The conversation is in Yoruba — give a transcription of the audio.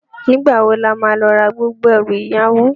Nigbá wó làmá lò rá gbógbó èrú iyàwó?